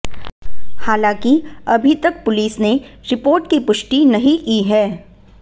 हालांकि अभी तक पुलिस ने रिपोर्ट की पुष्टी नहीं की है